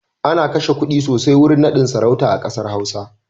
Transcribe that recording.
Ana kashe kuɗi sosai wurin naɗin sarauta a ƙasar Hausa.